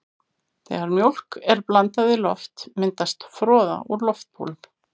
Þegar mjólk er blandað við loft myndast froða úr loftbólum.